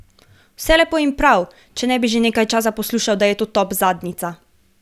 Vse lepo in prav, če ne bi že nekaj časa poslušal, da je to top zadnjica.